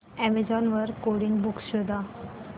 Amazon वर coding books शोधा